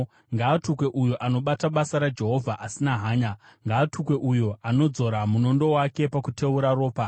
“Ngaatukwe uyo anobata basa raJehovha asina hanya! Ngaatukwe uyo anodzora munondo wake pakuteura ropa!